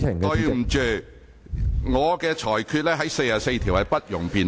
根據《議事規則》第44條，我的裁決不容辯論。